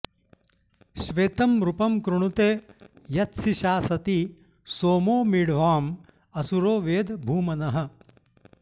श्वेतं रूपं कृणुते यत्सिषासति सोमो मीढ्वाँ असुरो वेद भूमनः